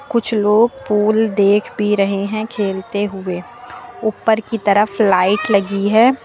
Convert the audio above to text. कुछ लोग पूल देख भी रहे हैं खेलते हुए। ऊपर की तरफ लाइट लगी है।